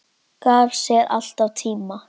Gaf sér alltaf tíma.